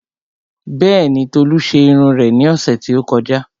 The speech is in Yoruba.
Bẹ́ẹ̀ni, Tolu ṣe irun rẹ̀ ní ọ̀sẹ̀ tí ó kọjá